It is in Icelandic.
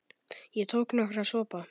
Ég tók nokkra sopa.